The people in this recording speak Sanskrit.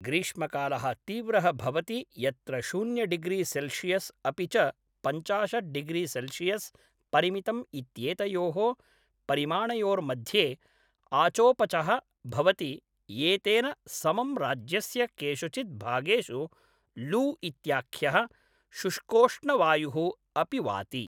ग्रीष्मकालः तीव्रः भवति यत्र शून्य डिग्रि सेल्शियस् अपि च पञ्चाशत् डिग्रि सेल्शियस् परिमितम् इत्येतयोः परिमाणयोर्मध्ये आचोपचः भवति, एतेन समं राज्यस्य केषुचित् भागेषु लू इत्याख्यः शुष्कोष्णवायुः अपि वाति।